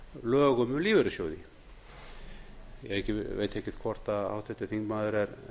lögum um lífeyrissjóði ég veit ekki hvort háttvirtur þingmaður er